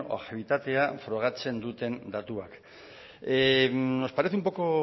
objektibitatea frogatzen duten datuak nos parece un poco